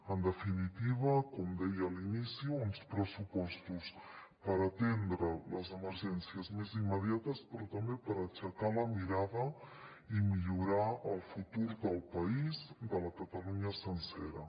en definitiva com deia a l’inici uns pressupostos per atendre les emergències més immediates però també per aixecar la mirada i millorar el futur del país de la catalunya sencera